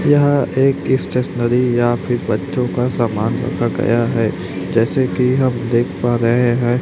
यह एक स्टेशनरी यहां पे बच्चों का सामान रखा गया है जैसे कि आप देख पा रहे हैं।